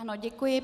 Ano, děkuji.